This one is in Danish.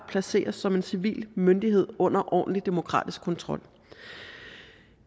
placeres som en civil myndighed under ordentlig demokratisk kontrol